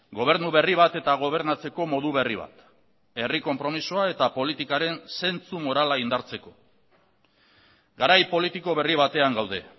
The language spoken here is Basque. gobernu berri bat eta gobernatzeko modu berri bat herri konpromisoa eta politikaren zentsu morala indartzeko garai politiko berri batean gaude